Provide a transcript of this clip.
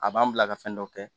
A b'an bila ka fɛn dɔ kɛ